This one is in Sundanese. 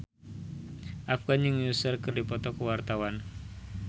Afgan jeung Usher keur dipoto ku wartawan